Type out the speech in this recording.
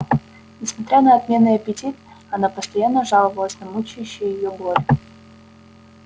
несмотря на отменный аппетит она постоянно жаловалась на мучающие её боль